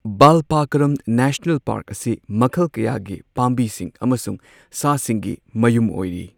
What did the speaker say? Balpakram national park ꯑꯁꯤ ꯃꯈꯜ ꯀꯌꯥꯒꯤ ꯄꯥꯝꯕꯤꯁꯤꯡ ꯑꯃꯁꯨꯡ ꯁꯥꯁꯤꯡꯒꯤ ꯃꯌꯨꯝ ꯑꯣꯏꯔꯤ꯫